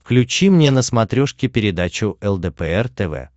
включи мне на смотрешке передачу лдпр тв